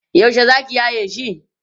yaushe zaki yaye shi?